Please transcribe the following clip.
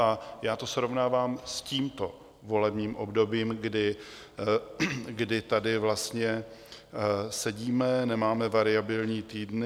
A já to srovnávám s tímto volebním obdobím, kdy tady vlastně sedíme, nemáme variabilní týdny.